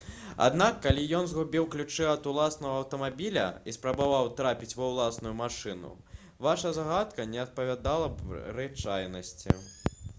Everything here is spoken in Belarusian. аднак калі ён згубіў ключы ад уласнага аўтамабіля і спрабаваў трапіць ва ўласную машыну ваша здагадка не адпавядала б рэчаіснасці